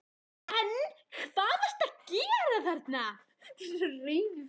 En hvað ertu að gera þarna?